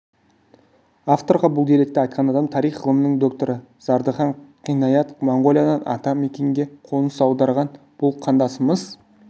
авторға бұл деректі айтқан адам тарих ғылымының докторы зардыхан қинаят моңғолиядан атамекенге қоныс аударған бұл қандасымыз